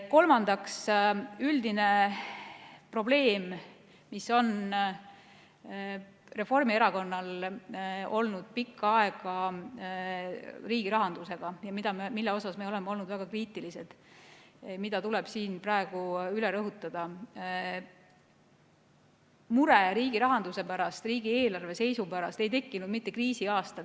Kolmandaks, üldine probleem, mis Reformierakonnal on pikka aega riigi rahanduse puhul olnud ja mille suhtes me oleme olnud väga kriitilised ja mida tuleb siin praegu üle rõhutada: mure riigi rahanduse pärast, riigieelarve seisu pärast ei tekkinud kriisiaastal.